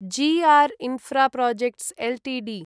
G R Infraprojects Ltd